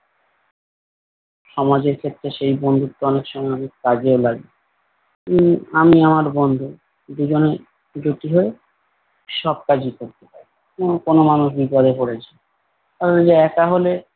সমাজের ক্ষেত্রে সেই বন্ধুত্ব অনেক সময় অনেক কাজেও লাগে। উম আমি আমার বন্ধু দুইজনে জুটি হয়ে সব কাজই করতে পারি। উম কোনো মানুষ বিপদে পড়েছে। ওই যে একা হলে